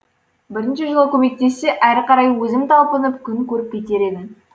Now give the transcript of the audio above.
бірінші жылы көмектессе әрі қарай өзім талпынып күн көріп кетер едім